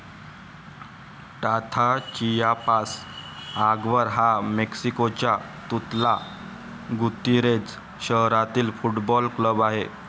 टाथा Chiapas आगवर हा मेक्सिकोच्या तुतला गुतीरेझ शहारातील फुटबॉल क्लब आहे.